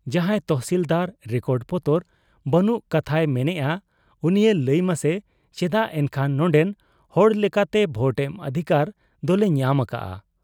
ᱡᱟᱦᱟᱸᱭ ᱛᱚᱦᱥᱤᱞᱫᱟᱨ ᱨᱮᱠᱚᱰ ᱯᱚᱛᱚᱨ ᱵᱟᱹᱱᱩᱜ ᱠᱟᱛᱷᱟᱭ ᱢᱮᱱᱮᱜ ᱟ, ᱩᱱᱤᱭᱮ ᱞᱟᱹᱭᱢᱟᱥᱮ ᱪᱮᱫᱟᱜ ᱮᱱᱠᱷᱟᱱ ᱱᱚᱱᱰᱮᱱ ᱦᱚᱲ ᱞᱮᱠᱟᱛᱮ ᱵᱷᱳᱴ ᱮᱢ ᱚᱫᱷᱤᱠᱟᱨ ᱫᱚᱞᱮ ᱧᱟᱢ ᱟᱠᱟᱜ ᱟ ?